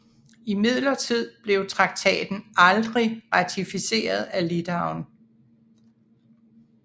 Imidlertid blev traktaten aldrig ratificeret af Litauen